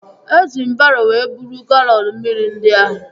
Eji m baro wee buru galọn mmiri ndị ahụ